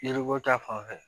Yiriko ta fan fɛ